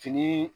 Fini